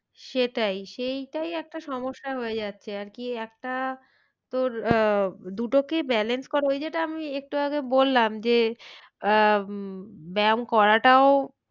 সেটাই, সেইটাই একটা সমস্যা হয়ে যাচ্ছে আর কি একটা তোর আহ দুটোকে balance করা ওই যেটা আমি একটু আগে বললাম যে আহ উম ব্যাম করাটাও